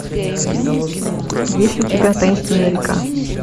есть ли у тебя таинственная река